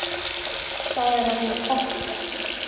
Það er alveg pottþétt.